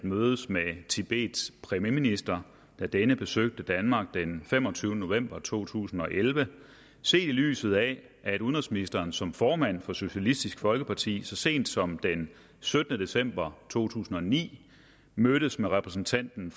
at mødes med tibets premierminister da denne besøgte danmark den femogtyvende november to tusind og elleve set i lyset af at udenrigsministeren som formand for socialistisk folkeparti så sent som den syttende december to tusind og ni mødtes med repræsentanten